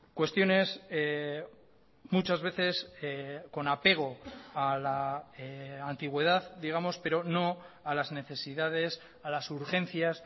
cuestiones muchas veces con apego a la antigüedad digamos pero no a las necesidades a las urgencias